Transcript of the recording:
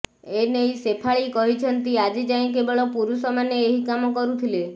ଏନେଇ ଶେଫାଳୀ କହିଛନ୍ତି ଆଜି ଯାଏଁ କେବଳ ପୁରୁଷମାନେ ଏହି କାମ କରୁଥିଲେ